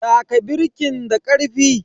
Taka birkin da karfi.